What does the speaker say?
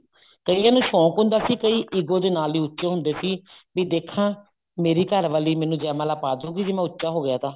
ਕਈਆਂ ਨੂੰ ਸ਼ੋਂਕ ਹੁੰਦਾ ਸੀ ਕਈ ego ਦੇ ਨਾਲ ਉੱਚੇ ਹੁੰਦੇ ਸੀ ਵੀ ਦੇਖਾ ਮੇਰੀ ਘਰਵਾਲੀ ਮੈਨੂੰ ਜੈ ਮਾਲਾ ਪਾਦੁਗੀ ਜੇ ਮੈਂ ਉੱਚਾ ਹੋ ਗਿਆ ਤਾਂ